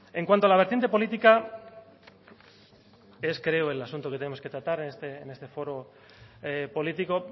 en cuanto a la vertiente política es creo el asunto que tenemos que tratar en este foro político